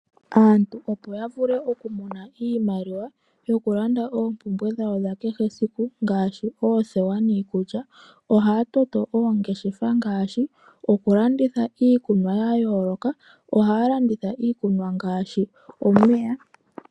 Aantu opo ya vuie okumona iimaliwa opo lande oompumbwe dhawo dha kehe esiku ohaa toto oongeshefa ngaashi okulanditha iikumwa ya yooloka ohaa landitha iikumwa ngaashi omeya.